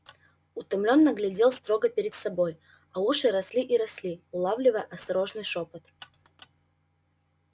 утомлённо глядел строго перед собой а уши росли и росли улавливая осторожный шёпот